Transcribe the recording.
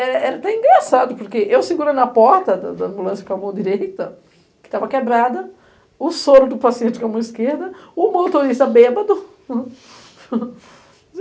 Era até engraçado, porque eu segurando a porta da ambulância com a mão direita, que estava quebrada, o soro do paciente com a mão esquerda, o motorista bêbado.